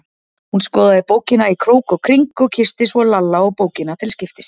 Hún skoðaði bókina í krók og kring og kyssti svo Lalla og bókina til skiptis.